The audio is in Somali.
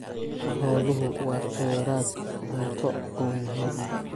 Xooluhu waa kheyraad cunto oo muhiim ah.